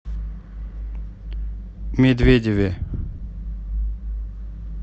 медведеве